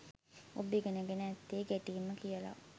ඔබ ඉගෙනගෙන ඇත්තෙ ගැටීම කියල.